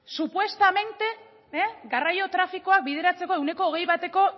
supuestamente garraio trafikoak bideratzeko ehuneko hogei bateko